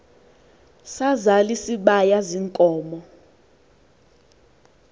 sazal isibaya ziinkomo